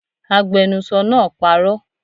Agbenusọ náà parọ́